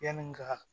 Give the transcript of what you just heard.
Yani n ka